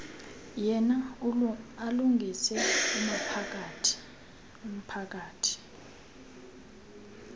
yena alungise umphakathi